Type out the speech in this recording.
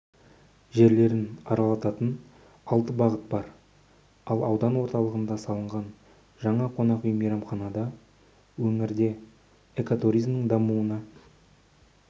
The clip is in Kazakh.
жерлерін аралататын алты бағыт бар ал аудан орталығында салынған жаңа қонақүй мейрамхана өңірде экотуризмнің дамуына